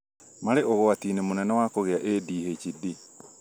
marĩ ũgwati-inĩ mũnene wa kũgĩa ADHD